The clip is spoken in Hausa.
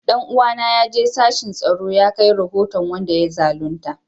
Dan uwana ya je sashin tsaro ya kai rahoton wanda ya zalunta